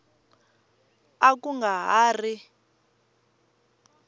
a ku nga ha ri